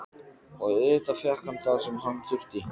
Og auðvitað fékk hann það sem hann þurfti.